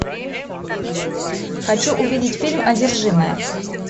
хочу увидеть фильм одержимые